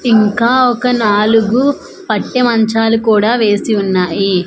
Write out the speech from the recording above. ఇంకా ఒక నాలుగు పట్టె మంచాలు కూడా వేసి ఉన్నాయి.